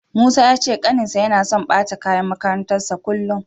Musa ya ce ƙaninsa yana so ɓata kayan makarantarsa kullum.